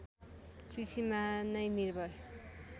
कृषिमा नै निर्भर